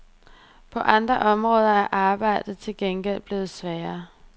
På andre områder er arbejdet til gengæld blevet sværere.